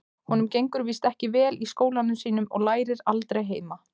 Honum gengur víst ekki vel í skólanum sínum og lærir aldrei heima.